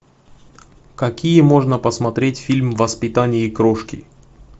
какие можно посмотреть фильм воспитание крошки